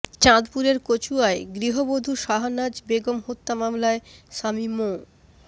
চাঁদপুরের কচুয়ায় গৃহবধূ শাহানাজ বেগম হত্যা মামলায় স্বামী মো